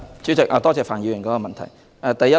主席，多謝范議員的補充質詢。